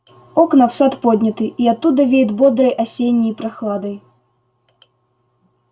окна в сад подняты и оттуда веет бодрой осенней прохладой